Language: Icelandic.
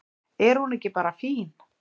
Er hún ekki bara fín?